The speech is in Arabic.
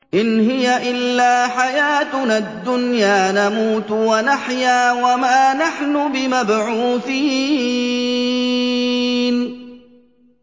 إِنْ هِيَ إِلَّا حَيَاتُنَا الدُّنْيَا نَمُوتُ وَنَحْيَا وَمَا نَحْنُ بِمَبْعُوثِينَ